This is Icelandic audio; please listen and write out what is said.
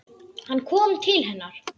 Hann kom til hennar.